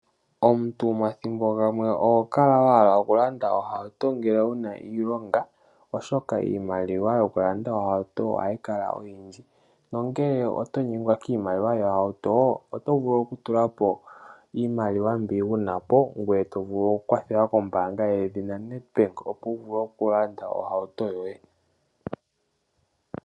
Omuntu thimbo limwe ohokala wahala okulanda ohauto ngele wuna iilonga, oshoka iimaliwa nokulanda ohauto ohayi Kala oyindji, Nongele otonyengwa kimaliwa yohauto , otovulu okutulapo iimaliwa mbi wunapo ngweye tovulu okukwathelwa kombanga yedhina Nedbank opo wuvule okulanda ohauto yoye